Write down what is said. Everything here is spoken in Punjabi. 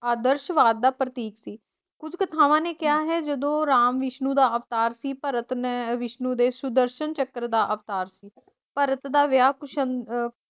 ਅੱਧਰਸ਼ਵਾਦ ਦਾ ਪ੍ਰਤੀਕ ਸੀ। ਕੁਝ ਕਥਾਵਾਂ ਨੇ ਕਿਹਾ ਹੈ ਜਦੋਂ ਰਾਮ ਵਿਸ਼ਨੂੰ ਦਾ ਅਵਤਾਰ ਸੀ, ਭਰਤ ਨੇ ਵਿਸ਼ਨੂੰ ਦੇ ਸੁਦਰਸ਼ਨ ਚੱਕਰ ਦਾ ਅਵਤਾਰ ਸੀ, ਭਰਤ ਦਾ ਵਿਆਹ ਅਹ